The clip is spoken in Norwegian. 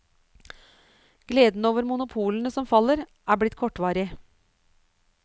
Gleden over monopolene som faller, er blitt kortvarig.